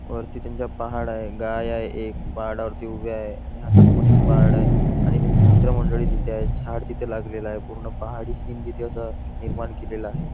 वरती त्यांच्या पहाड आहे गाय आहे एक पहाडा वरती उभ्या आहे आणि हातात पण एक पहाड आहे आणि त्यांची मित्रमंडळी तिथे आहे आणि झाड तिथे लागलेला आहे पूर्ण पहाडी सीन तिथं असं निर्माण केलेलं आहे.